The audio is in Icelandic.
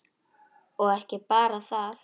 Og ekki bara það: